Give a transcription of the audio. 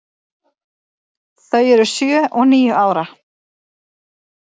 Þau eru sjö og níu ára.